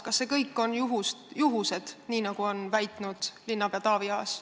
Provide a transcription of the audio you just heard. Kas need kõik on juhused, nii nagu on väitnud linnapea Taavi Aas?